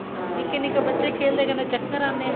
ਨਿੱਕੇ ਨਿੱਕੇ ਬੱਚੇ ਖੇਲਦੇ ਆ ਕਹਿੰਦੇ ਚੱਕਰ ਆਉਂਦੇ ਆ